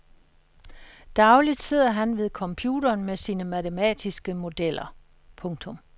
Dagligt sidder han ved computeren med sine matematiske modeller. punktum